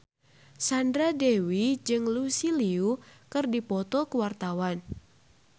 Sandra Dewi jeung Lucy Liu keur dipoto ku wartawan